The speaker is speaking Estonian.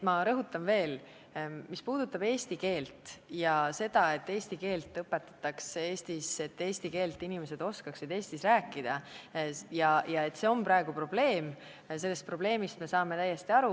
Ma rõhutan veel: mis puudutab eesti keelt ja seda, et eesti keelt Eestis õpetataks, et inimesed oskaksid Eestis eesti keelt rääkida, ja seda, et see on praegu probleem, siis sellest me saame täiesti aru.